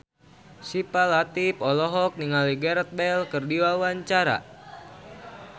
Syifa Latief olohok ningali Gareth Bale keur diwawancara